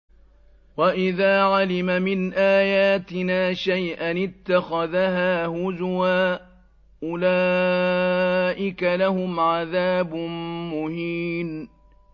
وَإِذَا عَلِمَ مِنْ آيَاتِنَا شَيْئًا اتَّخَذَهَا هُزُوًا ۚ أُولَٰئِكَ لَهُمْ عَذَابٌ مُّهِينٌ